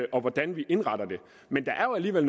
og hvordan vi indretter det men der er jo alligevel